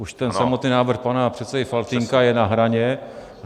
Už ten samotný návrh pana předsedy Faltýnka je na hraně.